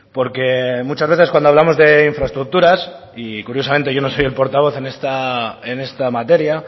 porque muchas veces cuando hablamos de infraestructuras y curiosamente yo no soy el portavoz en esta materia